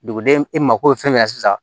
Duguden e mako bɛ fɛn min na sisan